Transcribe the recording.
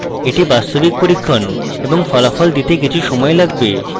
এটি বাস্তবিক পরীক্ষণ এবং ফলাফল দিতে কিছু সময় লাগবে